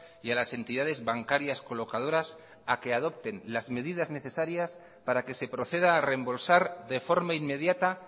y a las entidades bancarias colocadoras a que adopten las medidas necesarias para que se proceda a reembolsar de forma inmediata